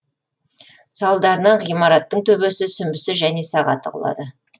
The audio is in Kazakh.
салдарынан ғимараттың төбесі сүмбісі және сағаты құлады